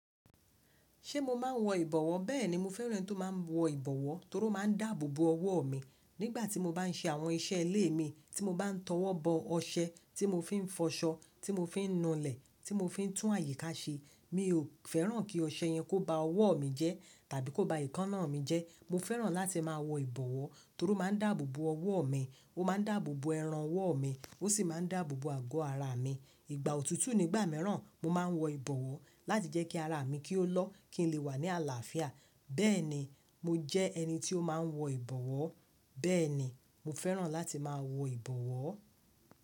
Ṣé mo máa ń wọ ìbọ̀wọ́? Bẹ́ẹ̀ni, mo fẹ́ran ẹni tí ó máa ń wọ ìbọwọ́ torí ó máa ń dáàbò bo ọwọ́ mi. Nígbà tí mo bá n ṣe àwọn iṣẹ́ ilé mi, tí mo bá n tọwọ́ bọ ọṣẹ, tí mo fín fọṣọ, tí mo fín nu ilẹ̀, tí mo fín tún àyíká ṣe, mi ò fẹ́ràn kí ọṣẹ yẹn kó ba ọwọ́ mi jẹ́ tàbí kó ba ekaná mi jẹ́. Mo fẹ́ràn láti máa wọ ìbọwọ́ torí ó máa ń dáàbò bo ọwọ́ mi, ó máa ń dáàbò bo ẹran ọwọ́ mi, ó sì máa ń dáàbò bo àgọ́ ara mi. Ìgbà òtútù nígbà mìíràn, mo máa ń wọ ìbọwọ́ láti jẹ́ kí ara mi kí ó lọ́ kí n lè wà ní àlàáfíà. Bẹ́ẹ̀ni, mo jẹ́ ẹni tí ó máa ń wọ ìbọwọ́. Bẹ́ẹ̀ni, mo fẹ́ràn láti máa wọ ìbọwọ́.